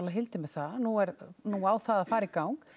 Hildi með það nú er nú á það að fara í gang